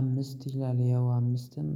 አምስት ይላል ያው አምስትም